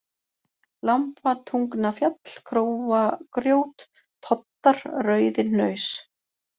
Lambatungnafjall, Króagrjót, Toddar, Rauðihnaus